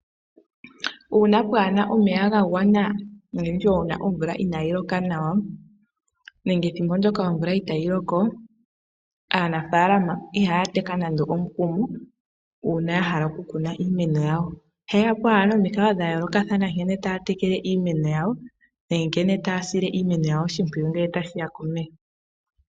Uuna kaapu na omeya ga gwana nenge omvula inaayi loka nawa nenge thimbo ndyoka omvula itayi loko, aanafaalama ihaya teka nando omukumo uuna ya hala okukuna iimeno yawo. Ohaye ya po nomikalo dha yoolokathana nkene taya tekele iimeno yawo nenge nkene taya sile iimeno yawo oshimpwiyu ngele tashi ya komeya.